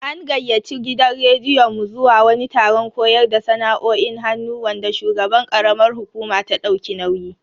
An gayyaci gidan rediyon mu zuwa wani taron koyar da sana'o'in hannu wanda shugaban karamar hukuma ta dauki nauyi.